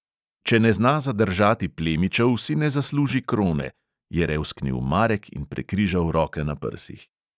"Če ne zna zadržati plemičev, si ne zasluži krone," je revsknil marek in prekrižal roke na prsih.